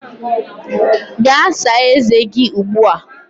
Gaa saa ezé gị ugbu a!